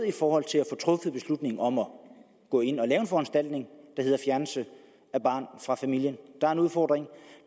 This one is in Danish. i forhold til at få truffet beslutningen om at gå ind og lave en foranstaltning der hedder fjernelse af barnet fra familien der er en udfordring